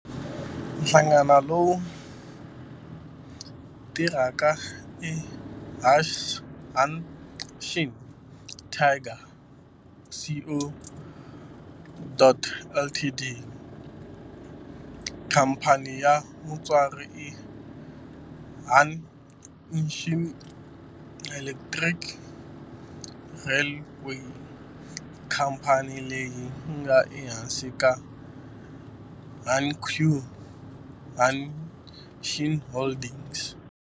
Nhlangano lowu tirhaka i Hanshin Tigers Co., Ltd. Khamphani ya mutswari i Hanshin Electric Railway, khamphani leyi nga ehansi ka Hankyu Hanshin Holdings.